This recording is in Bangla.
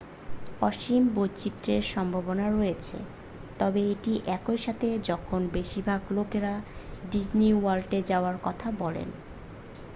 "অসীম বৈচিত্রের সম্ভাবনা রয়েছে তবে এটি একই থাকে যখন বেশিরভাগ লোকেরা "ডিজনি ওয়ার্ল্ডে যাওয়ার" কথা বলেন।